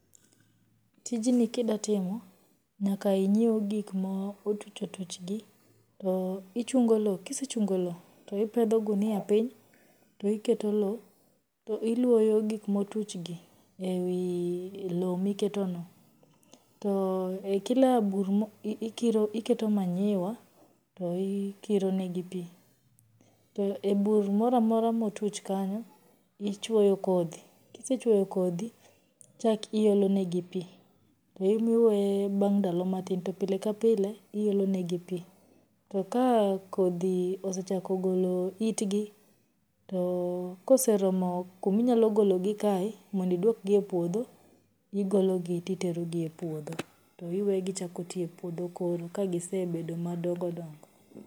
Tijni kidatimo, nyaka inyiew gikma otuchotuchgi to ichungo loo kisechungoloo to ipedho ghunia piny to iketo loo to iluoyo gikma otuchgi ewii loo miketono to ei kila bur ikiro iketo manure to ikironegi pii, to e bur moramora motuch kanyo, ichuoyo kodhi, kisechuoyo kodhi chakiolonegi pii to iwee bang' ndalo matin to pile ka pile iolonegi pii, to ka kodhi osechakogolo itgi, to koseromo kuminyalogologi kae mondo idwokgi e puodho, igologi to titerogi e puodho to iwegichako tii e puodho koro ka gisebedo madongodongo.